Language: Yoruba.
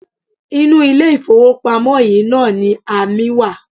Inú ilé-ìfowópamọ́ yìí náà ni amí wa.